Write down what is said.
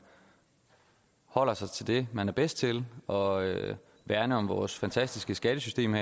holder sig til det man er bedst til og værner om vores fantastiske skattesystem